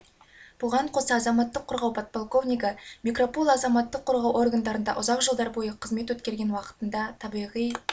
бұған қоса азаматтық қорғау подполковнигі микропуло азаматтық қорғау органдарында ұзақ жылдар бойы қызмет өткерген уақытында табиғи